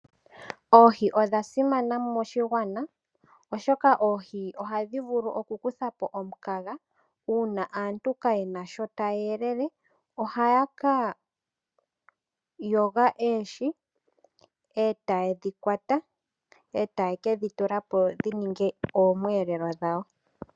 Oohi odha simana moshigwana oshoka oohi ohadhi vulu oku kutha po omukaga. Uuna aantu kaayena shi taya elele, ohaya ka shongola nenge ya ka kwate oohi eta ye dhi teleke dhi ninge oomweelelo dhawo.